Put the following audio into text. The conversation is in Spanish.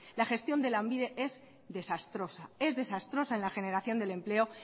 la gestión de lanbide es desastrosa es desastrosa en la generación del empleo